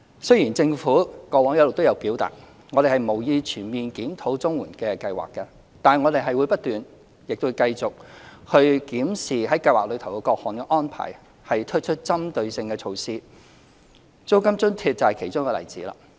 雖然政府過往一直也表達，我們無意全面檢討綜援計劃，但我們會不斷、亦會繼續檢視計劃的各項安排，並推出針對性的措施，租金津貼就是其中一個例子。